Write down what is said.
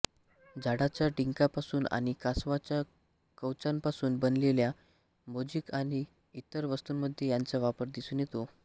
झाडाच्या डिंकापासून आणि कासवाच्या कवचांपासून बनवलेल्या मोझीक आणि इतर वस्तूंमध्ये याचा वापर दिसून येतो